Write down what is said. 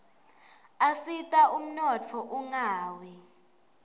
asita umnotfo ungawi